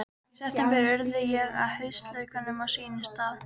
Í september urða ég haustlaukana á sínum stað.